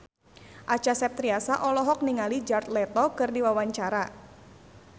Acha Septriasa olohok ningali Jared Leto keur diwawancara